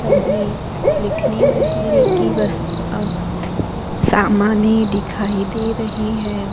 सभी लिखने वगैरे कि वस अ सामाने दिखाई दे रही है।